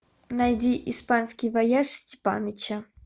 найди испанский вояж степаныча